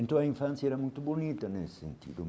Então a infância era muito bonita nesse sentido.